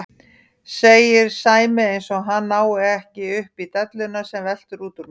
segir Sæmi eins og hann nái ekki upp í delluna sem veltur út úr mér.